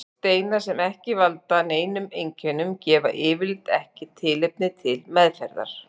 Steinar sem ekki valda neinum einkennum gefa yfirleitt ekki tilefni til meðferðar.